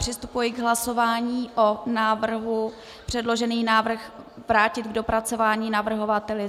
Přistupuji k hlasování o návrhu předložený návrh vrátit k dopracování navrhovateli.